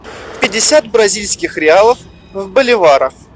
пятьдесят бразильских реалов в боливарах